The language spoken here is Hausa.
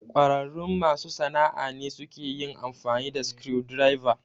ƙwararrun masu sana'a ne suke yin amfani da screwdrivers.